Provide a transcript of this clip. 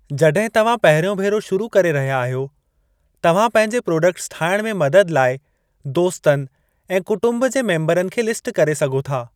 जॾहिं तव्हां पहिरियों भेरो शुरू करे रहिया आहियो, तव्हां पंहिंजे प्रोडक्ट्स ठाहिण में मदद लाइ दोस्तनि ऐं कुटुंबु जे मेम्बरनि खे लिस्ट करे सघो था।